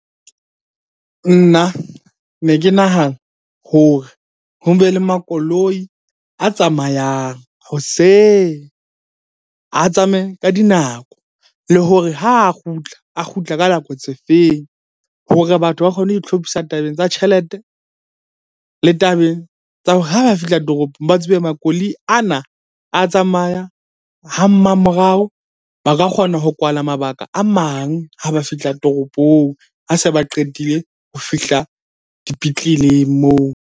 Nna ne ke nahana hore ho be le makoloi a tsamayang hoseng. A tsamaye ka dinako le hore ha a kgutla a kgutla ka nako tse feng? Hore batho ba kgone ho itlhophisa tabeng tsa tjhelete le tabeng tsa hore ha ba fihla toropong ba tsebe makoloi ana a tsamaya ha mma morao. Ba ka kgona ho kwala mabaka a mang ha ba fihla toropong, ha se ba qetile ho fihla dipetleleng moo.